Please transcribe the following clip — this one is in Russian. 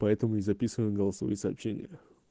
поэтому не записывает голосовые сообщения